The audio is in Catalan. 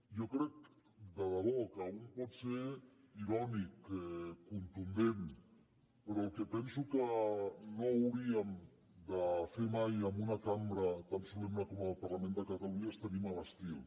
jo crec de debò que un pot ser irònic contundent però el que penso que no hauríem de fer mai en una cambra tan solemne com la del parlament de catalunya és tenir mal estil